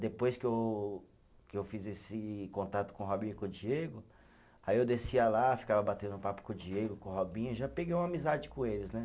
Depois que eu, que eu fiz esse contato com o Robinho e com o Diego, aí eu descia lá, ficava batendo papo com o Diego, com o Robinho, já peguei uma amizade com eles, né?